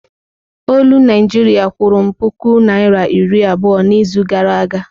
Olu Naịjiria kwụrụ m puku naịra iri abụọ n'izu gara aga.